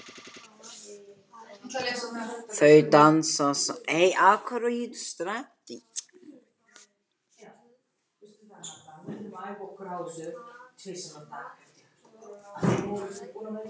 Þau dansa samt áfram með gott bil á milli sín.